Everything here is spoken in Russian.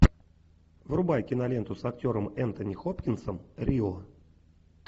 врубай киноленту с актером энтони хопкинсом рио